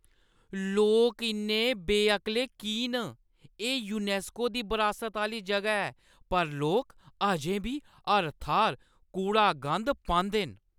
लोक इन्ने बेअकले की न? एह् यूनैस्को दी बरासत आह्‌ली जगह ऐ पर लोक अजें बी हर थाह्‌र कूड़ा-गंद पांदे न।